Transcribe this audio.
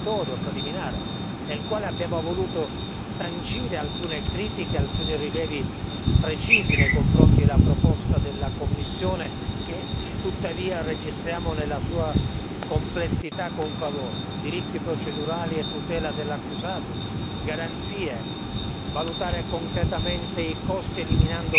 Ma nello stesso tempo dobbiamo ricordare a tutti i colleghi che si tratta di un rapporto interlocutorio, preliminare, nel quale abbiamo voluto sancire alcune critiche, alcuni rilievi precisi nei confronti della proposta della Commissione, che tuttavia registriamo nella sua complessità con favore diritti procedurali e tutela dell'accusato,